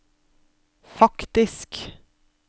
faktisk